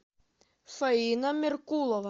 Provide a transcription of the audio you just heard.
фаина меркулова